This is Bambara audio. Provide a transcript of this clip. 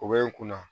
O bɛ n kunna